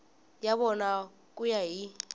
ya vona ku ya hi